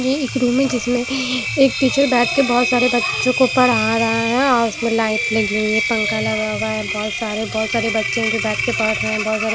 एक रूम है जिसमें एक टीचर बैठ के बहुत सारे बच्चों को पढ़ा रहा है और उसमें लाइट लगी हुई है पंखा लगा हुआ है बहुत सारे बहुत सारे बच्चे हैं जो बैठ के पढ़ रहे हैं।